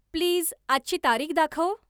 please आजची तारीख दाखव